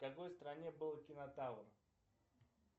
в какой стране был кинотавр